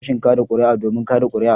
Zan je sashin kada kuri'a domin kada kuri'a.